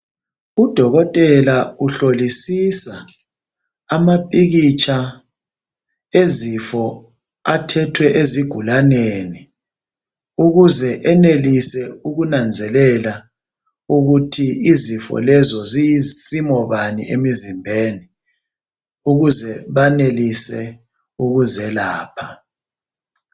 Udokotela uhlolisisa amapikitsha ezifo athethwe ezigulaneni, ukuze enelise ukunanzelela ukuthi izifo lezo ziyisimo bani emizimbeni, ukuze benelise ukuzelapha.